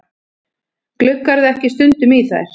Gluggarðu ekki stundum í þær?